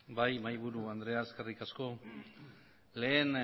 bai mahaiburu andrea eskerrik asko lehen